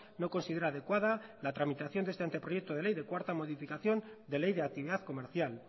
no considera adecuada la tramitación de este anteproyecto de ley de cuarta modificación de ley de actividad comercial